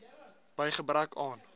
by gebrek aan